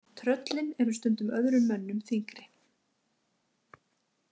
Tröllin eru stundum öðrum mönnum þyngri.